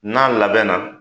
N'a labɛn na